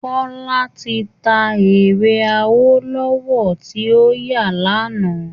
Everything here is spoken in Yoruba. Kọ́lá ti ta ere awólọ́wọ̀ tí óyà lánàá